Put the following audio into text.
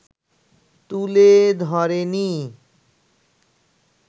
তুলে ধরেনি